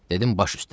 Dedim baş üstə.